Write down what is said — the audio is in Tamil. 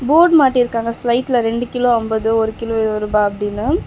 போர்டு மாட்டி இருக்காங்க ஸ்லைட்ல ரெண்டு கிலோ அம்பது ஒரு கிலோ இருவ ரூபா அப்டின்னு.